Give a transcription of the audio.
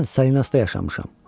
Mən Salinasda yaşamışam.